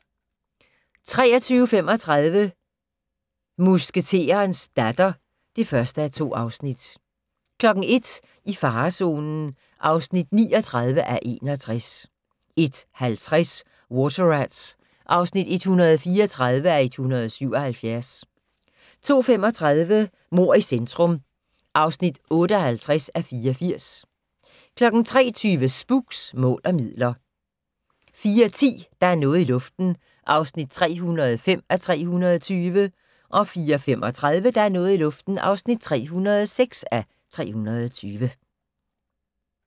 23:35: Musketerens datter (1:2) 01:00: I farezonen (39:61) 01:50: Water Rats (134:177) 02:35: Mord i centrum (58:84) 03:20: Spooks: Mål og midler 04:10: Der er noget i luften (305:320) 04:35: Der er noget i luften (306:320)